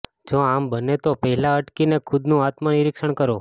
જો આમ બને તો પહેલાં અટકીને ખુદનું આત્મનિરીક્ષણ કરો